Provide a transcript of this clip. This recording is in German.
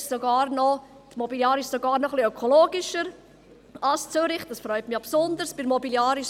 Die Mobiliar ist sogar noch etwa ökologischer als die Zürich, wo es bereits unter 7000 Kilometern so ist.